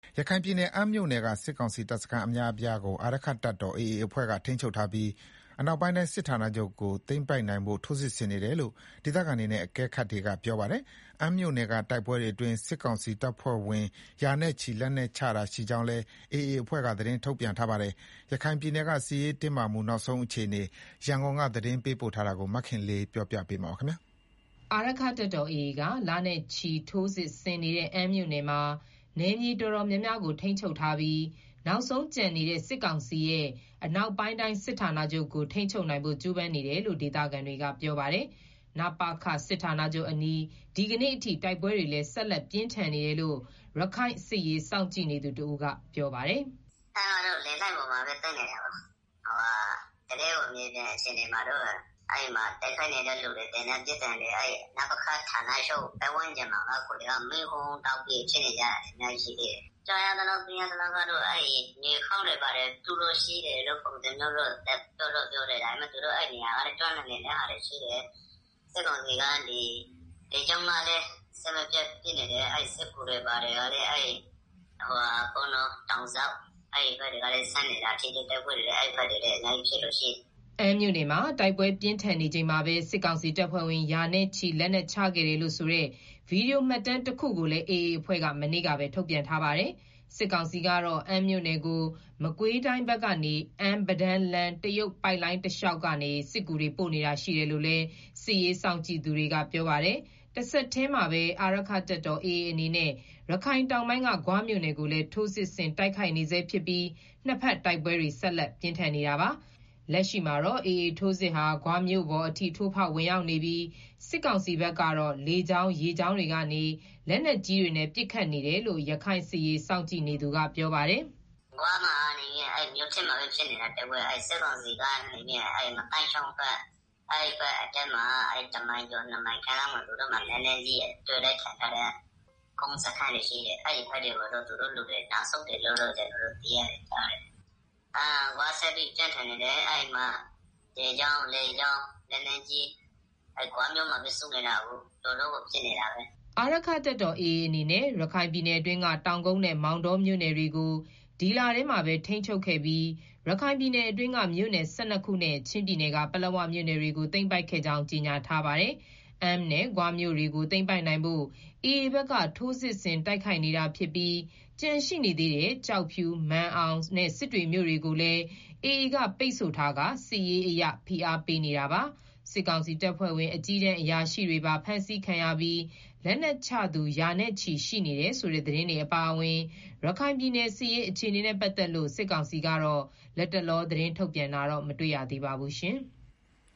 ရခိုင်ပြည်နယ် အမ်းမြို့နယ်က စစ်ကောင်စီတပ်စခန်းအများအပြားကို အာရက္ခတပ်တော် AA အဖွဲ့က ထိန်းချုပ်ထားပြီး အနောက်ပိုင်းတိုင်းစစ်ဌာနချုပ်ကို သိမ်းပိုက်နိုင်ဖို့ ထိုးစစ်ဆင်နေတယ်လို့ ဒေသခံတွေနဲ့ အကဲခတ်တွေက ပြောပါတယ်။ အမ်းမြို့နယ်တိုက်ပွဲတွေအတွင်း စစ်ကောင်စီတပ်ဖွဲ့ဝင် ရာနဲ့ချီ လက်နက်ချတာရှိခဲ့ကြောင်းလည်း AA အဖွဲ့က သတင်းထုတ်ပြန်ထားတာပါ။ ရခိုင်ပြည်နယ်က စစ်ရေးတင်းမာမှု နောက်ဆုံးအခြေအနေ ရန်ကုန်က သတင်းပေးပို့ ထားတာကို မခင်လေး တင်ပြထားပါတယ်။ အာရက္ခတပ်တော် AA က လနဲ့ချီ ထိုးစစ်ဆင်နေတဲ့ အမ်းမြို့နယ်မှာ နယ်မြေတော်တော်များများကို ထိန်းချုပ်ထားပြီး နောက်ဆုံးကျန်နေတဲ့ စစ်ကောင်စီရဲ့ အနောက်ပိုင်းတိုင်းစစ်ဌာနချုပ်ကို ထိန်းချုပ်နိုင်ဖို့ ကြိုးပမ်းနေတယ်လို့ ဒေသခံတွေက ပြောပါတယ်။ နပခ စစ်ဌာနချုပ်အနီး ဒီကနေ့အထိ တိုက်ပွဲတွေလည်း ဆက်လက် ပြင်းထန်နေတယ်လို့ရခိုင်စစ်ရေးစောင့်ကြည့်နေသူတဦးက ပြောပါတယ်။ “အမ်းကတော့ လေလိုင်းပေါ်မှာပဲသိမ်းနေကြတာ။ တကယ့်ကို မြေပြင်အခြေအနေမှာတော့ တိုက်ခိုက် နေတဲ့သူတွေ၊ သေနတ်ပစ်သံတွေ နပခ ဌာနချုပ်ပတ်ဝန်းကျင်မှာ မီးဟုန်းဟုန်းတောက် နေတာ။ ကြားရသလောက်တော့ မြေအောက်ဂူတွေ တူးလို့ရှိတယ်လို့ ကြားရတယ်။ သူတို့ အဲဒီကနေ ပြီးတော့ ခုခံနေတာရှိတယ်။ စစ်ကောင်စီက လေကြောင်းကလည်း အဆက်မပြတ်ပစ်နေတယ်။ စစ်ကူတွေ လည်း တောင်ဇောက်ဘက်ကနေ ဆင်းနေတော့ အဲဒီဘက်တွေလည်း ထိတွေ့တိုက်ပွဲဖြစ် နေတာရှိတယ်။” အမ်းမြို့နယ်မှာ တိုက်ပွဲပြင်းထန်နေချိန်မှာပဲ စစ်ကောင်စီတပ်ဖွဲ့ဝင် ရာနဲ့ချီ လက်နက်ချခဲ့တယ်လို့ဆိုတဲ့ ဗွီဒီယိုမှတ်တမ်းတခုကိုလည်း AA အဖွဲ့က မနေ့ကပဲ ထုတ်ပြန်ထားပါတယ်။ စစ်ကောင်စီကတော့ အမ်းမြို့နယ်ကို မကွေးတိုင်းဘက်ကနေ အမ်း-ပဒန်းလမ်း တရုတ်ပိုက်လိုင်း တလျှောက်ကနေ စစ်ကူတွေ ပို့နေတာရှိတယ်လို့လည်း စစ်ရေးစောင့်ကြည့်သူတွေကပြောပါတယ်။ တဆက်တည်းမှာပဲ အာရက္ခတပ်တော် AA အနေနဲ့ ရခိုင်တောင်ပိုင်းက ဂွမြို့နယ်ကိုလည်း ထိုးစစ်ဆင် တိုက်ခိုက်နေဆဲဖြစ်ပြီး နှစ်ဘက်တိုက်ပွဲတွေ ဆက်လက်ပြင်းထန်နေတာပါ။ လက်ရှိမှာတော့ AA ထိုးစစ်ဟာ ဂွမြို့ပေါ်အထိ ထိုးဖောက်ဝင်ရောက်နေပြီး စစ်ကောင်စီဘက်က လေကြောင်း၊ ရေကြောင်းတွေကနေ လက်နက်ကြီးတွေနဲ့ ပစ်ခတ်နေတယ်လို့ ရခိုင်စစ်ရေးစောင့်ကြည့်နေသူကပြောပါတယ်။ “ဂွမှာတော့ မြို့ထဲမှာပဲ ဖြစ်နေတာ။ တိုက်ပွဲက၊ စစ်ကောင်စီကတော့ အဲဒီငသိုင်းချောင်းဘက်အထွက် တမိုင်ကျော် နှစ်မိုင်ကျော်လောက်မှာ လက်နက်ကြီးစခန်းတွေရှိတယ်။ အဲဒီဘက်ကို သူတို့လူတွေ နောက်ဆုတ်တယ်လို့တော့ ကျနော်တို့ ကြားတယ်။ ဂွက ဆက်ပြီးတော့ ပြင်းထန်နေတယ်။ အဲဒီမှာ လေကြောင်း၊ ရေကြောင်း လက်နက်ကြီးတွေ ဂွမြို့မှာပဲ စုနေတာ။ အခု တော်တော့ကို ပြင်းထန်နေ တာပဲအခု။” အာရက္ခတပ်တော်AAအနေနဲ့ ရခိုင်ပြည်နယ်အတွင်းက တောင်ကုတ်နဲ့မောင်တောမြို့နယ်တွေကို ဒီလထဲ မှာပဲ ထိန်းချုပ်ခဲ့ပြီး ရခိုင်ပြည်နယ်အတွင်းက မြို့နယ် ၁၂ခုနဲ့ ချင်းပြည်က ပလက်ဝမြို့နယ်တွေကို သိမ်းပိုက်ခဲ့ကြောင်း ကြေညာထားပါတယ်။ အမ်းနဲ့ ဂွမြို့ကို သိမ်းပိုက်နိုင်ဖို့ AAဘက်က ထိုးစစ်တိုက်ခိုက်နေတာဖြစ်ပြီး ကျန်ရှိနေသေးတဲ့ ကျောက်ဖြူ၊ မာန်အောင်နဲ့ စစ်တွေမြို့နယ်ကိုလည်း AA က ပိတ်ဆို့ထားပြီး စစ်ရေးအရ ဖိအားပေး နေတာပါ။ စစ်ကောင်စီတပ်ဖွဲ့ဝင် အကြီးတန်းအရာရှိတွေပါ ဖမ်းဆီးခံရပြီး လက်နက်ချသူ ရာနဲ့ချီ ရှိနေတယ်ဆိုတဲ့ သတင်းတွေ အပါအဝင် ရခိုင်ပြည်နယ် စစ်ရေးအခြေအနေနဲ့ပတ်သက်လို့ စစ်ကောင်စီက လတ်တလော သတင်းထုတ်ပြန်တာတော့ မတွေ့ရသေးပါဘူး။